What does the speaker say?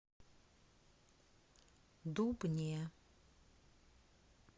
дубне